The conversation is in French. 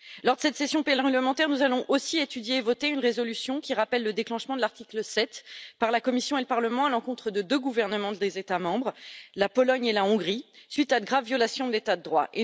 Lors de cette session parlementaire, nous allons aussi étudier et voter une résolution qui rappelle le déclenchement de l'article 7 par la Commission et le Parlement à l'encontre de deux gouvernements des États membres la Pologne et la Hongrie, suite à de graves violations de l'état de droit.